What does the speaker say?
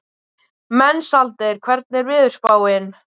Mensalder, hvernig er veðurspáin?